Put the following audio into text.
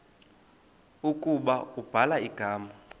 ukuba ubhala igama